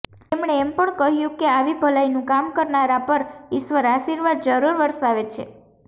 તેમણે એમ પણ કહ્યું કે આવી ભલાઈનું કામ કરનારા પર ઈશ્વર આશીર્વાદ જરૂર વરસાવે છે